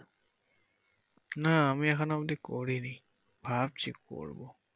না আমি এখন অব্দি করিনি ভাবছি করবো।